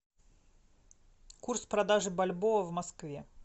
курс продажи бальбоа в москве